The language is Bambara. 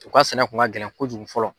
U ka sɛnɛ kun ka gɛlɛn kojugu fɔlɔ.